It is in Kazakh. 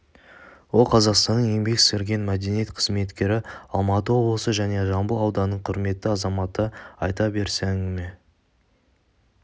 ол қазақстанның еңбек сіңірген мәдениет қызметкері алматы облысы және жамбыл ауданының құрметті азаматы айта берсе әңгіме